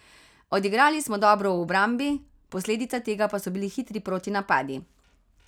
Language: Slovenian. Odigrali smo dobro v obrambi, posledica tega pa so bili hitri protinapadi.